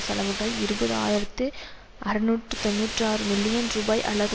செலவுகள் இருபது ஆயிரத்து அறுநூற்று தொன்னூற்று ஆறு மில்லியன் ரூபாய் அல்லது